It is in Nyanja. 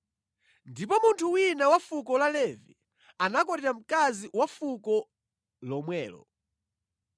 Ndipo munthu wina wa fuko la Levi anakwatira mkazi wa fuko lomwelo.